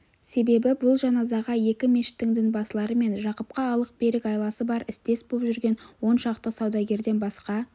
себебі бұл жаназаға екі мешіттің дінбасылары мен жақыпқа алық-берік айласы бар істес боп жүрген он шақты саудагерден басқа